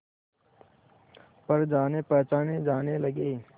पर जानेपहचाने जाने लगे